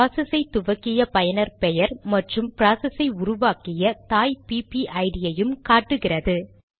process ஐ துவக்கிய பயனர் பெயர் மற்றும் ப்ராசஸ் ஐ உருவக்கிய தாய் பிபிஐடிPPID ஐயும் காட்டுகிறது